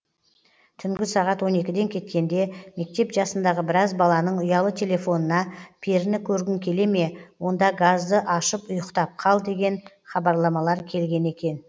түнгі сағат он екіден кеткенде мектеп жасындағы біраз баланың ұялы телефонына періні көргің келеме онда газды ашып ұйықтап қал деген хабарламалар келген екен